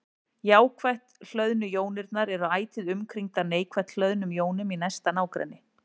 Jákvætt hlöðnu jónirnar eru ætíð umkringdar neikvætt hlöðnum jónum í næsta nágrenni.